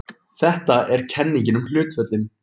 Þetta er kenningin um hlutföllin.